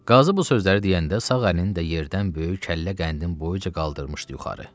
Qazı bu sözləri deyəndə sağ əlini də yerdən böyük kəllə qəndin boyuca qaldırmışdı yuxarı.